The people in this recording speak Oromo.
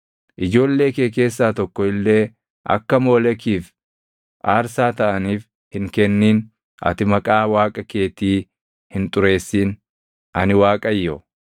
“ ‘Ijoollee kee keessaa tokko illee akka Moolekiif aarsaa taʼaniif hin kennin; ati maqaa Waaqa keetii hin xureessin. Ani Waaqayyo.